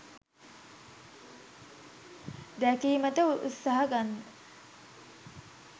දැකීමට උත්සාහ ගන්න.